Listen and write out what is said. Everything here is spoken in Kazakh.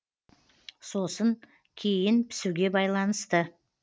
сосын кейін пісуге байланысты